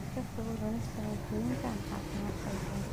Ka fogow cunista cuntooyinka aan caafimaadka lahayn.